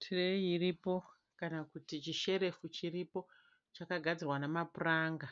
Tireyi iripo kana kuti chi sherefu chiripo chakagadzirwa namapuranga.